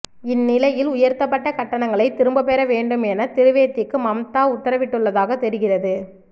இந் நிலையில் உயர்த்தப்பட்ட கட்டணங்களை திரும்பப் பெற வேண்டும் என திரிவேதிக்கு மம்தா உத்தரவிட்டுள்ளதாகத் தெரிகிறது